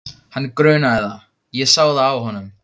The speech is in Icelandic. Hann grunaði það, ég sá það á honum.